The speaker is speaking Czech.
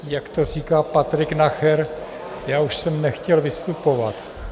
Jak to říká Patrik Nacher, já už jsem nechtěl vystupovat.